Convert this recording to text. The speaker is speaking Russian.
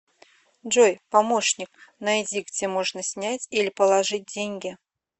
джой помощник найди где можно снять или положить деньги